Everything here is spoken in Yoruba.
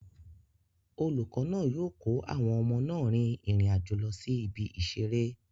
Olùkọ́ náà yóò kó àwọn ọmọ náà rin ìrìn àjò lọ sí ibi ìseré